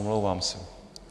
Omlouvám se.